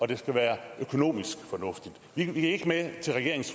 det skal være økonomisk fornuftigt vi gik ikke med til regeringens